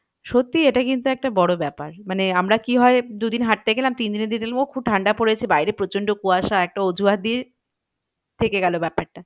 সত্যি এটা কিন্তু একটা বড়ো ব্যাপার মানে আমরা কি হয় দু দিন হাঁটতে গেলাম তিন দিনের দিন দেখলাম ও খুব ঠান্ডা পড়েছে বাইরে প্রচন্ড কুয়াশা একটা অজুহাত দিয়ে থেকে গেলো ব্যাপারটা